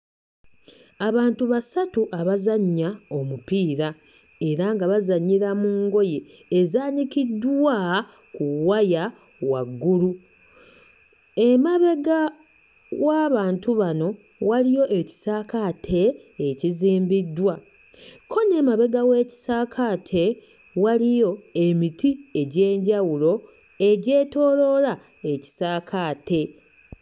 Abantu basatu abazannya omupiira era nga bazannyira mu ngoye ezaanikiddwa ku waya waggulu. Emabega w'abantu bano waliyo ekisaakaate ekizimbiddwa, ko n'emabega w'ekisaakaate waliyo emiti egy'enjawulo egyetooloola ekisaakaate.